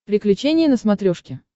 приключения на смотрешке